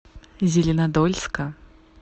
зеленодольска